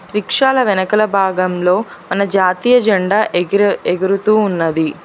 రిక్షాల వెనకల భాగంలో మన జాతీయజండా ఎగురు ఎగురుతూ ఉన్నది.